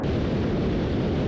İndi səs gəlmir.